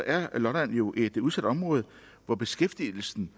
er lolland jo et udsat område hvor beskæftigelsen